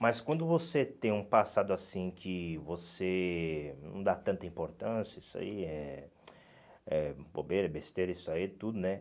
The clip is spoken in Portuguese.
Mas quando você tem um passado assim que você não dá tanta importância, isso aí é é bobeira, besteira, isso aí é tudo, né?